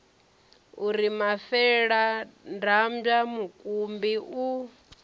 u ri mafeladambwa mukumbi u